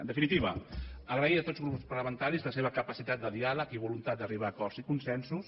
en definitiva agrair a tots els grups parlamentaris la seva capacitat de diàleg i voluntat d’arribar a acords i consensos